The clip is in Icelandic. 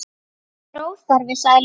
Það er óþarfi, sagði Lóa.